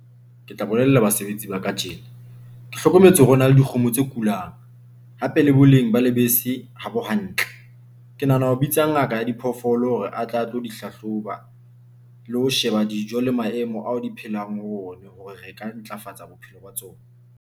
Ke tla bolella basebetsi ba ka tjena, ke hlokometse hore ho na le dikgomo tse kulang hape le boleng ba lebese habo hantle. Ke nahana ho bitsa ngaka ya diphoofolo hore a tla tlo di hlahloba le ho sheba dijo le maemo ao re phelang ho ona hore re ka ntlafatsa bophelo ba tsona.